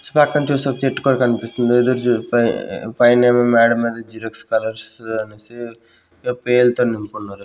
పక్కన చూస్తే ఒక్క చెట్టు కూడా కనిపిస్తుంది ఎదురు చూడ్-- పై-- పైనే ఏమో మెడ మీద జీరోక్ కలర్స్ అన్నేసి పేరు అయితే అనుకున్నారు.